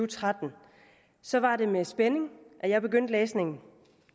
tretten så var det med spænding at jeg begyndte læsningen